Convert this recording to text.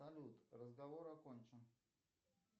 салют разговор окончен